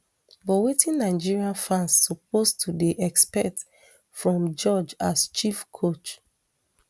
but wetin nigeria fans suppose to dey expect from george as chief coach